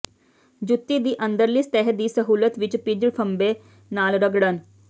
ਜੁੱਤੀ ਦੀ ਅੰਦਰਲੀ ਸਤਿਹ ਦੀ ਸਹੂਲਤ ਵਿੱਚ ਭਿੱਜ ਫ਼ੰਬੇ ਨਾਲ ਰਗੜਨ